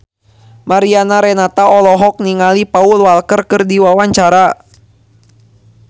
Mariana Renata olohok ningali Paul Walker keur diwawancara